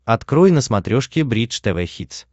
открой на смотрешке бридж тв хитс